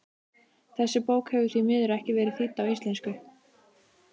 Þessi bók hefur því miður ekki verið þýdd á íslensku.